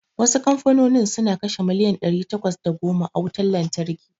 Wasu kamfanonin suna kashe miliyan ɗari takwas da goma a wutar lantarki.